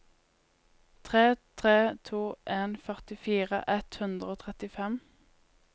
tre tre to en førtifire ett hundre og trettifem